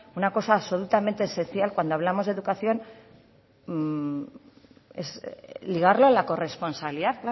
una cosa absolutamente esencial cuando hablamos de educación es ligarla a la corresponsabilidad